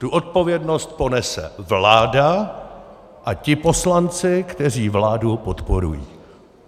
Tu odpovědnost ponese vláda a ti poslanci, kteří vládu podporují.